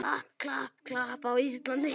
klapp, klapp, klapp, Ísland!